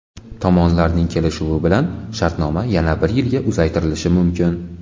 Tomonlarning kelishuvi bilan shartnoma yana bir yilga uzaytirilishi mumkin.